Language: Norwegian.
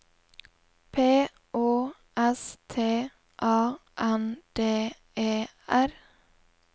P Å S T A N D E R